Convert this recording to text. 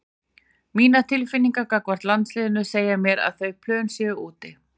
Mínar tilfinningar gagnvart landsliðinu segja mér að þau plön séu úti.